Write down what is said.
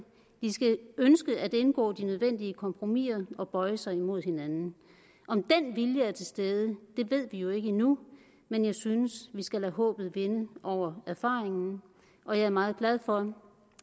skal ønske at indgå de nødvendige kompromiser og bøje sig mod hinanden om den vilje er til stede ved vi jo ikke endnu men jeg synes vi skal lade håbet vinde over erfaringen og jeg er meget glad for